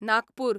Nagpur